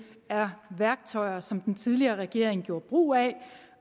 er værktøjer som den tidligere regering gjorde brug af